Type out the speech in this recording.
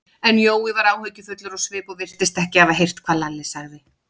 En Jói var áhyggjufullur á svip og virtist ekki hafa heyrt hvað Lalli sagði.